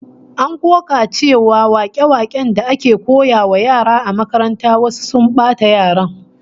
An koka cewa wake-waken da ake koyawa yara a makaranta wasu sun bata yaran